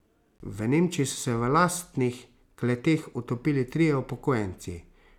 V Nemčiji so se v lastnih kleteh utopili trije upokojenci.